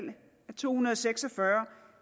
to hundrede og seks og fyrre